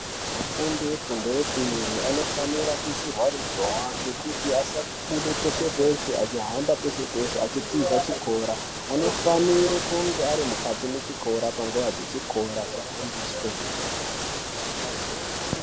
Afundi efundo yepiri anofanira kuisirwa ruzhowa ngekuti asabude peshe-peshe achihamba peshe-peshe achitiza chikora. Anofanire kunge ari mukati mechikora panguwa dzechikora achifundiswa kwemene.